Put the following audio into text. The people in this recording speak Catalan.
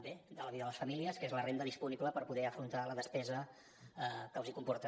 bé de la vida de les famílies que és la renda disponible per poder afrontar la despesa que els comporta